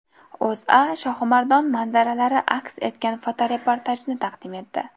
O‘zA Shohimardon manzaralari aks etgan fotoreportajni taqdim etdi .